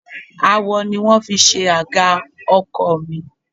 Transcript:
Awọ ni wón fi ṣe àga ọkọ̀ mi.